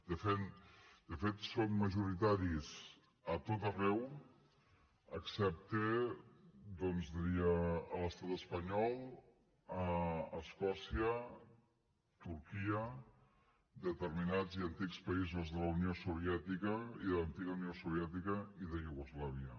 de fet són majoritaris a tot arreu excepte doncs diria a l’estat espanyol a escòcia turquia determinats i antics països de la unió soviètica i de l’antiga unió soviètica i de iugoslàvia